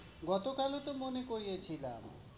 গতকাল ও তো মনে করিয়েছিলাম।